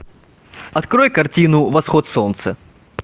открой картину восход солнца